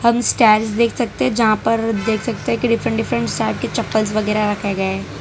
हम स्टैंड्स देख सकते हैं जहां पर देख सकते है कि डिफरेंट डिफरेंट साइज के चप्पल्स वगैरह रखे गए।